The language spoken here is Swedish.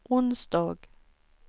onsdag